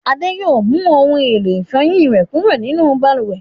Adé yóò mú ohun-èlò ìfọyín rẹ̀ kúrò nínú balùwẹ̀.